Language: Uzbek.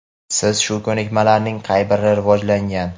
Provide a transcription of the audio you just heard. Sizda shu ko‘nikmalarning qaysi biri rivojlangan?.